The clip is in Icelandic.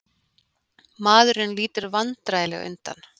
Maðurinn lítur vandræðalega undan.